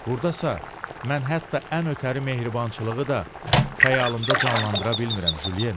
Buradasa mən hətta ən ötəri mehribançılığı da xəyalımda canlandıra bilmirəm Jyen.